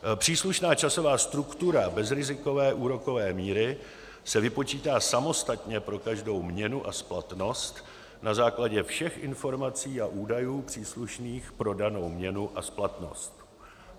Příslušná časová struktura bezrizikové úrokové míry se vypočítá samostatně pro každou měnu a splatnost na základě všech informací a údajů příslušných pro danou měnu a splatnost.